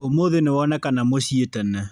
Ũmũthĩ nĩwonekana mũciĩ tene